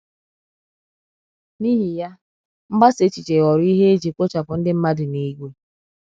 N’ihi ya, mgbasa èchìchè ghọrọ ihe e ji kpochapụ ndị mmadụ n’ìgwè.